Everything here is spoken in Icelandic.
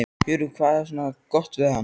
Hugrún: Hvað er svona gott við hana?